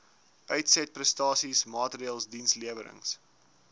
uitsetprestasie maatreëls dienslewerings